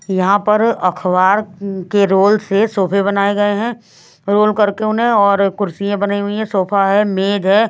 यहां पर अखबार के रोल से सोफे बनाए गए हैं रोल करके उन्हें और कुर्सियां बनी हुई है सोफा है मेज है।